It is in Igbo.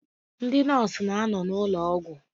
Ndị nọọsụ na-anọ n'ụlọ ụgwọ.